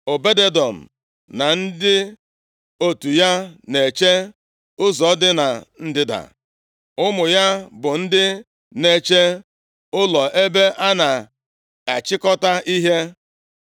Obed-Edọm na ndị otu ya na-eche ụzọ dị na ndịda. Ụmụ ya bụ ndị na-eche ụlọ ebe a na-achịkọta ihe.